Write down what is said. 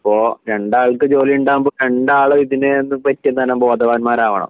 അപ്പോ രണ്ടാൾക്കും ജോലി ഉണ്ടാകുമ്പോ രണ്ടാളും ഇതിനെപ്പറ്റി എന്താണ് ബോധവാന്മാരാകണം